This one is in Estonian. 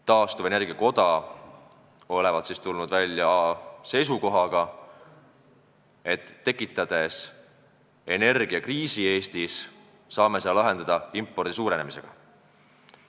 Taastuvenergia koda olevat tulnud välja seisukohaga, et kui me tekitame Eestis energiakriisi, siis saame selle üle elada impordi suurenemise abil.